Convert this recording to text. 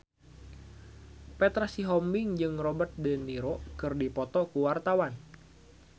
Petra Sihombing jeung Robert de Niro keur dipoto ku wartawan